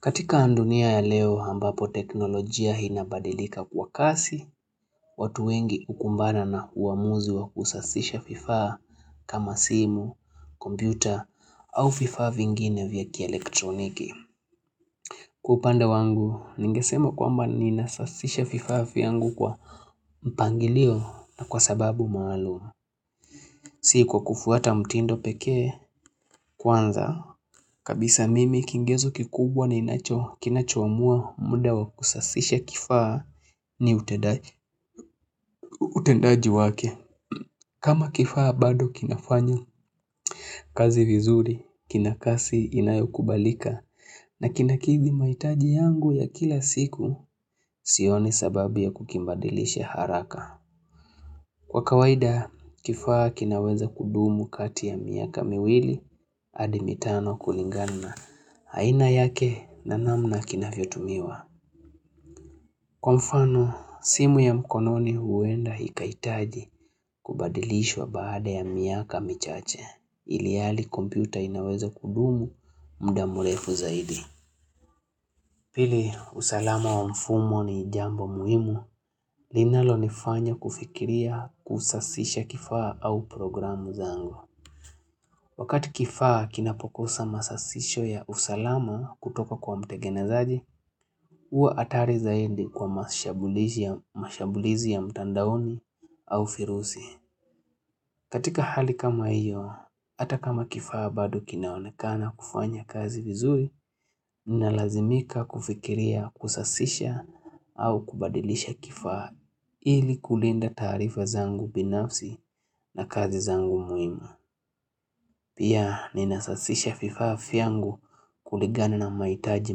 Katika dunia ya leo ambapo teknolojia inabadilika kwa kasi, watu wengi ukumbana na uamuzi wa kusasisha vifaa kama simu, kompyuta au vifaa vingine vya kielektroniki. Kwa upande wangu, ningesema kwamba niinasasisha vifaa vyangu kwa mpangilio na kwa sababu maalum Si kwa kufuata mtindo pekee kwanza kabisa mimi kigezo kikubwa na inacho, kinacho amua muda wa kusasisha kifaa ni utendaji wake. Kama kifaa bado kinafanya, kazi vizuri, kina kasi inayo kubalika na kinakidhi mahitaji yangu ya kila siku, sioni sababu ya kukibadilisha haraka. Kwa kawaida, kifaa kinaweza kudumu kati ya miaka miwili hadi mitano kulingana haina yake na namna kinavyotumiwa. Kwa mfano, simu ya mkononi huenda ikahitaji kubadilishwa baada ya miaka michache, ilhali kompyuta inaweza kudumu muda mrefu zaidi. Pili usalama wa mfumo ni jambo muhimu, linalonifanya kufikiria kusasisha kifaa au programu zangu. Wakati kifaa kinapokosa masasisho ya usalama kutoka kwa mtegenezaji, huwa hatari zaidi kwa mashambulizi ya mtandaoni au virusi. Katika hali kama hiyo, hata kama kifaa bado kinaonekana kufanya kazi vizuri, ninalazimika kufikiria kusasisha au kubadilisha kifaa ili kulinda taarifa zangu binafsi na kazi zangu muhimu. Pia ninasasisha vifaa vyangu kuligana na mahitaji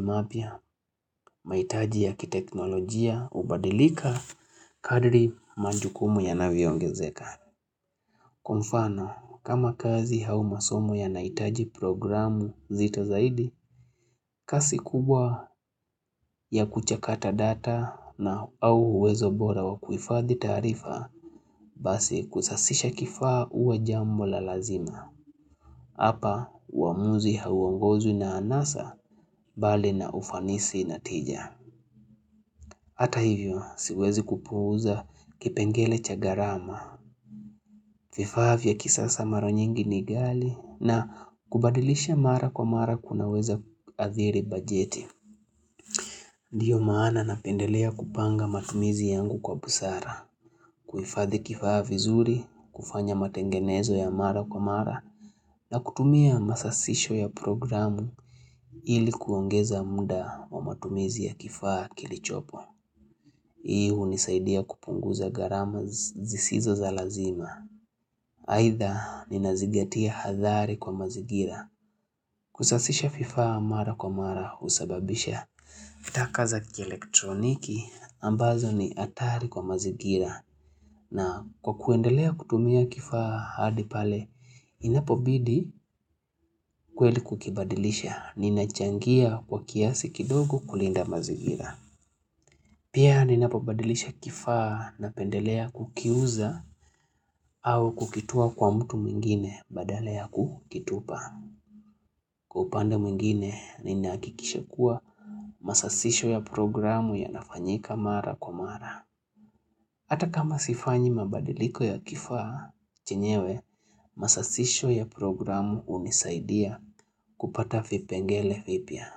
mapya, mahitaji ya kiteknolojia, ubadilika kadri majukumu yanavyoongezeka. Kwa mfano, kama kazi au masomo yanahitaji programu zito zaidi, kasi kubwa ya kuchakata data na au uwezo bora wa kuifadhi taarifa, basi kusasisha kifaa huwa jambo la lazima. Hapa, uamuzi hauongozwi na anasa bali na ufanisi natija. Hata hivyo siwezi kupuuza kipengele cha gharama, vifaa vya kisasa mara nyingi ni ghali na kubadilisha mara kwa mara kunaweza hadhiri bajeti. Ndiyo maana napendelea kupanga matumizi yangu kwa busara, kuifadhi kifaa vizuri, kufanya matengenezo ya mara kwa mara na kutumia masasisho ya programu ilikuongeza muda wa matumizi ya kifaa kilicho hii unisaidia kupunguza gharama zisizo za lazima. Aidha ninazigatia hadhari kwa mazigira. Kusasisha vifaa mara kwa mara husababisha taka za kielektroniki ambazo ni hatari kwa mazingira. Na kwa kuendelea kutumia kifaa hadi pale inapobidi kweli kukibadilisha ninachangia kwa kiasi kidogo kulinda mazigira. Pia ninapabadilisha kifaa napendelea kukiuza au kukitua kwa mtu mwingine badala ya kukitupa. Kwa upanda mwingine ninahakikisha kuwa masasisho ya programu yanafanyika mara kwa mara. Ata kama sifanyi mabadiliko ya kifaa chenyewe masasisho ya programu unisaidia kupata vipengele vipya,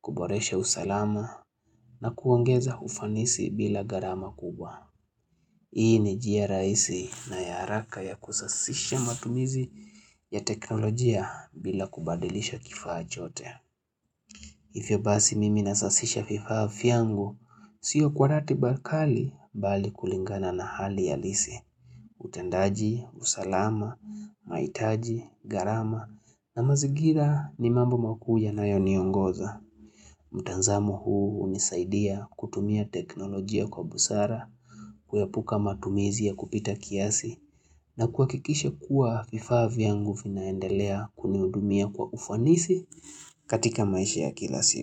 kuboresha usalama na kuongeza ufanisi bila gharama kubwa. Hii ni njia rahisi na ya haraka ya kusasisha matumizi ya teknolojia bila kubadilisha kifaa chote. Hivyo basi mimi nasasisha vifaa vyangu, sio kwa ratiba kali bali kulingana na hali ya alisi. Utendaji, usalama, mahitaji, gharama na mazingira ni mambo makuu yanayoniongoza. Mutanzamo huu unisaidia kutumia teknolojia kwa busara, kuyaepuka matumizi ya kupita kiasi na kuhakikisha kuwa vifaa vyangu vinaendelea kunihudumia kwa ufanisi katika maisha ya kila siku.